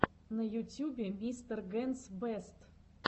на ютюбе мистер генс бэст